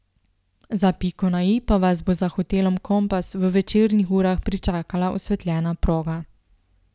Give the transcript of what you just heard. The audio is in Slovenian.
Za piko na i pa vas bo za hotelom Kompas v večernih urah pričakala osvetljena proga.